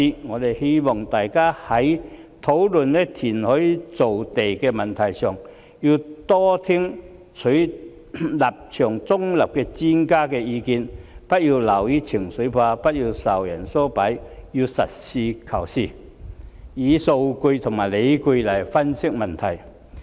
我們希望大家在討論填海造地的問題上，要多聽取立場中立的專家的意見，不要流於情緒化，不要受人唆擺，要實事求是，以數據及理據來分析問題。